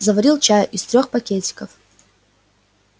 заварил чаю из трёх пакетиков